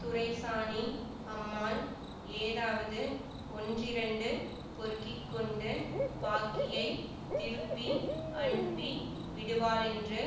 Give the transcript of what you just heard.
துரைசானி அம்மாள் ஏதாவது ஒன்றிரண்டு பொறுக்கிக்கொண்டு பாக்கியைத் திருப்பி அனுப்பி விடுவாளென்று